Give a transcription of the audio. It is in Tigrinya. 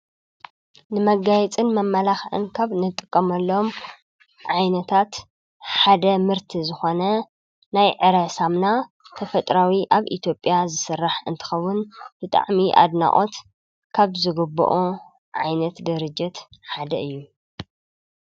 ንመጋይጽን መመላኽእን ካብ ነጥቀመሎም ዓይነታት ሓደ ምህርቲ ዝኾነ ናይ ዕረ ሳምና ተፈጥራዊ ኣብ ኢቲጴያ ዝሥራሕ እንትኸቡን ልጣዕሚ ኣድናዖት ካብ ዝጐብኦ ዓይነት ደርጀት ሓደ እዩ